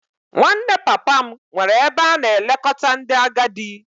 Nwanne papa m nwere ebe a na-elekọta ndị agadi